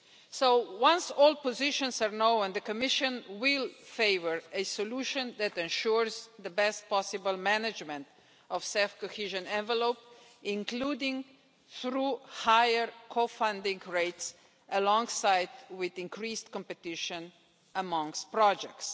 So, once all positions are known and the Commission will favour a solution that ensures the best possible management of CEF cohesion envelopes, including through higher co funding rates alongside increased competition amongst projects.